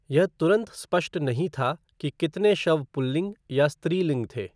यह तुरंत स्पष्ट नहीं था कि कितने शव पुल्लिंग या स्त्रीलिंग थे।